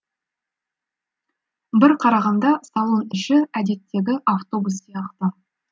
бір қарағанда салон іші әдеттегі автобус сияқты